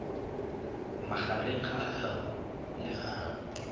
magareng ga h le h